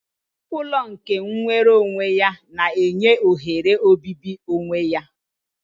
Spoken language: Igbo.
Ụlọ nke nwere onwe ya na-enye ohere obibi onwe ya